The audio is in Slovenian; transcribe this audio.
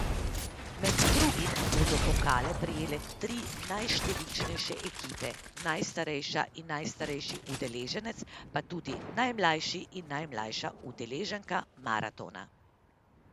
Med drugim bodo pokale prejele tri najštevilčnejše ekipe, najstarejša in najstarejši udeleženec, pa tudi najmlajši in najmlajša udeleženka maratona.